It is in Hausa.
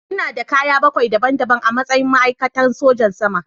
Ina da kaya bakwai daban-daban a matsayin ma'aikatan sojan sama.